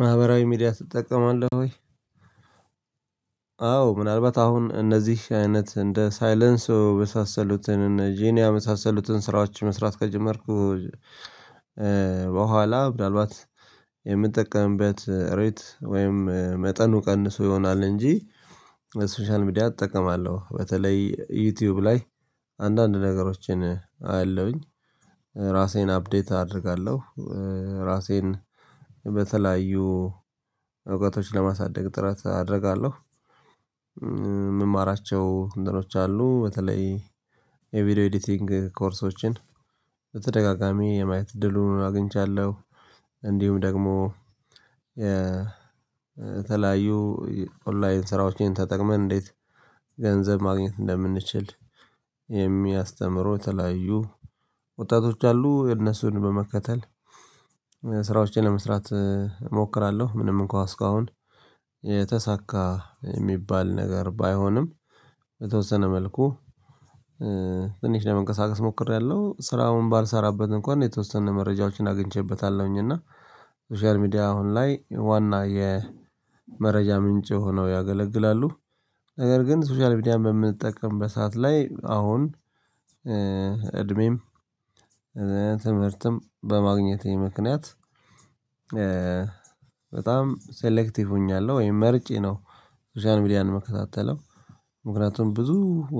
ማህበራዊ ሚዲያ ትጠቀማለህ ወይ? አዎ ምናአልባት አሁን እነዚህ አይነት እንደ ሳይሌንስዮ የመሳሰሉትን ጂኒያ የመሳሰሉትን ስራዎች መስራት ከጀመርኩ። በኋላ ምንአልባት የምጠቀምበት ሬት ወይም መጠኑ ቀንሶ ይሆናል እንጂ። ሶሻል ሚዲያ እጠቀማለሁ በተለይ ዩቲዩብ ላይ አንዳንድ ነገሮችን አያለሁኝ ራሴን አፕዴት አደርጋለሁ ራሴን በተለያዩ እውቀቶች ለማሳደግ ጥረት አደርጋለሁ። የምማራቸው እንትኖች አሉ። በተለይ የቪዲዮ ኤዲቲንግ ኮርሶችን በተደጋጋሚ የማየት እድሉን አግኝቻለሁ። እንዲሁም ደግሞ የተለያዩ ኦንላይን ስራዎችን ተጠቅመን እንዴት ገንዘብ ማግኘት እንደምንችል የሚያስተምሩ የተለያዩ ወጣቶች አሉ እነሱን በመከተል ስራዎችን ለመስራት እሞክራለሁ። ምንም እንኳን እስካሁን የተሳካ የሚባል ነገር ባይሆንም በተወሰነ መልኩ ትንሽ ለመንቀሳቀስ ሞክሬያለሁ። ስራውን ባልሰራበት እንኳን የተወሰነ መረጃዎችን አግኝቼበታለሁኝ። እና ሶሻል ሚዲያ አሁን ላይ ዋና የመረጃ ምንጭ ሆነው ያገለግላሉ። ነገር ግን ሶሻል ሚዲያ በምንጠቀም በሰአት ላይ አሁን እድሜም ትምህርትም በማግኘቴ ምክንያት በጣም ሴሌክቲቭ ሆኛለሁ ወይም መርጬ ነው ሶሻል ሚዲያ የምከታተለው። ምክንያቱም ብዙ